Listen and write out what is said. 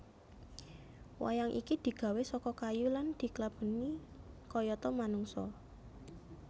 Wayang iki digawè saka kayu lan diklabèni kayata manungsa